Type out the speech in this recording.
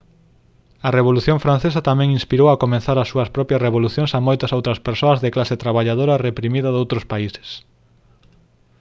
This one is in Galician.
a revolución francesa tamén inspirou a comezar as súas propias revolucións a moitas outras persoas da clase traballadora reprimida doutros países